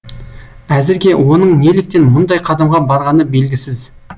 әзірге оның неліктен мұндай қадамға барғаны белгісіз